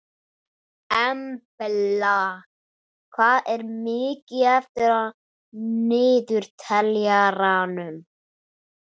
Embla, hvað er mikið eftir af niðurteljaranum?